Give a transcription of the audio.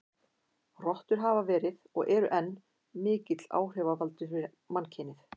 Rottur hafa verið, og eru enn, mikill áhrifavaldur fyrir mannkynið.